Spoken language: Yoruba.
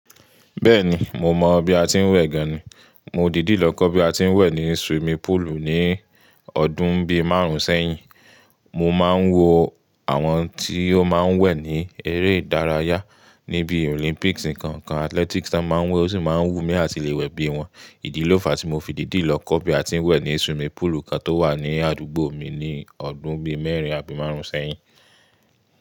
Bẹ́ẹ̀ni, mo mọ̀ bí a ti ń wẹ̀ gan ni. Mo dìdí lọ kọ́ bí a ti ń wẹ̀ ní swimming pool ní ọdún bí márùn sẹ́yìn. Mo máa ń wo àwọn tí ó máa ń wẹ̀ ní eré ìdárayá ní bí Olympics nǹkan kan, athletics tá ń máa wẹ̀ ó sì máa ń wú mí láti lè wẹ̀ bí wọn. Ìdí ló fa tí mo fìdí dì lọ kọ́ bí a ti ń wẹ̀ ní swimming pool kan tó wà ní àdúgbò mi ní ọdún bí mẹ́rin àbí márùn sẹ́yìn.